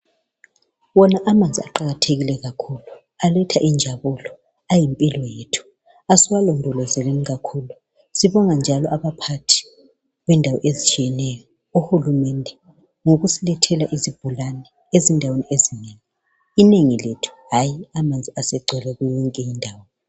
Wona amanzi aqakathekile kakhulu aletha injabulo ,ayimpilo yethu. Asiwalondolozeni kakhulu, sibonga njalo abaphathi bendawo ezitshiyeneyo, uHulumende ngokusilethela izibhorane ezindaweni ezinengi. Inengilethu hayi amanzi asegcwele kuyo yonke indawo.